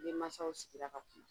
N ni mansaw sigira ka kuma